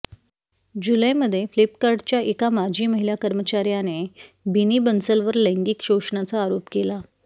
जुलैमध्ये फ्लिपकार्टच्या एका माजी महिला कर्मचाऱ्याने बिनी बन्सलवर लैंगिक शोषणाचा आरोप केला